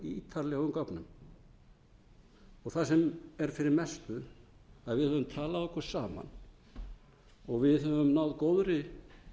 ítarlegum gögnum það sem er fyrir mestu að við höfum talað okkur saman og við höfum náð góðri